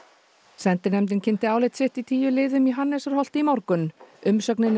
sendinefndin kynnti álit sitt í tíu liðum í Hannesarholti í morgun umsögnin er